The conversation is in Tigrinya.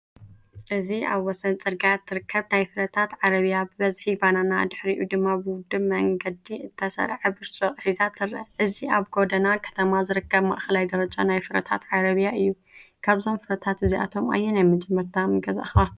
እዚ ኣብ ወሰን ጽርግያ እትርከብ ናይ ፍረታት ዓረብያ፡ ብብዝሒ ባናና፡ ድሕሪኡ ድማ ብውዱብ መንገዲ እተሰርዐ ብርጭቅ ሒዛ ትርአ። እዚ ኣብ ጎደና ከተማ ዝርከብ ማእከላይ ደረጃ ናይ ፍረታት ዓረብያ እዩ። ካብዞም ፍረታት እዚኣቶም ኣየናይ መጀመርታ ምገዛእካ?